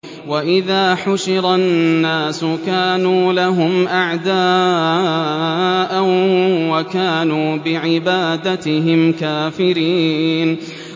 وَإِذَا حُشِرَ النَّاسُ كَانُوا لَهُمْ أَعْدَاءً وَكَانُوا بِعِبَادَتِهِمْ كَافِرِينَ